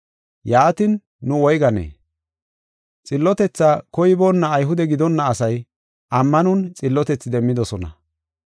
Yaatin, nu woyganee? Xillotethaa koyiboona Ayhude gidonna asay ammanon xillotethi demmidosona.